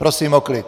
Prosím o klid!